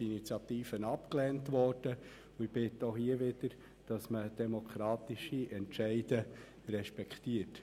Ich bitte auch hier darum, demokratische Entscheide zu respektieren.